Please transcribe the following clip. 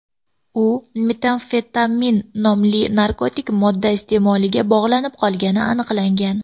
U metamfetamin nomli narkotik modda iste’moliga bog‘lanib qolgani aniqlangan.